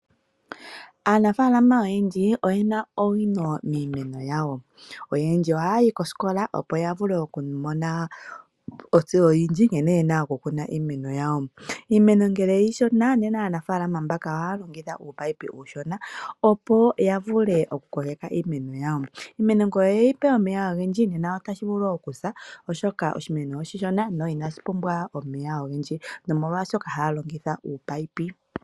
Aanafaalama oyendji oyena owino miimeno yawo, oyendji oha ya yi kosikola opo yavule yamone ontseyo oyindji nkene yena oku kuna iimeno yawo. Iimeno ngele iishona, aanafaalama mbaka oha ya longitha ominino omishona, opo ya vule oku koleka iimeno yawo. Iimeno ngele oye yipe omeya ogendji ota yi vulu woo okusa oshoka oshi meno oshi Shona, sho inashi pumbwa omeya ogendji, nomolwaashono ha ya longitha ominino.